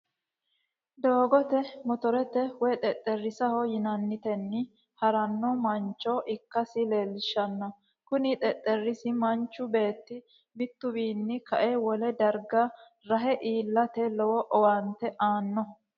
Doogote motorete woyi xexereesaho yinanitenni harano mancho ikkasi leelishano, kuni xexereessi manchu beeti mituwiini ka'e wole dariga rahe iillatr lowo owaante aanno